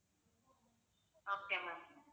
okay ma'am